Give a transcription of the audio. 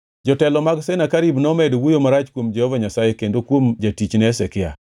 Jotelo mag Senakerib nomedo wuoyo marach kuom Jehova Nyasaye kendo kuom jatichne Hezekia.